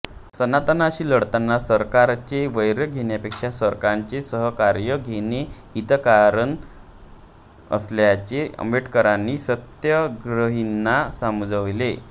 सनातन्यांशी लढताना सरकारचे वैर घेण्यापेक्षा सरकारचे सहकार्य घेणे हितकारण असल्याचे आंबेडकरांनी सत्याग्रहींना समजावले